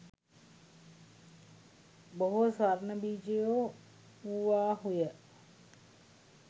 බොහෝ ස්වර්ණ බීජයෝ වූවාහුය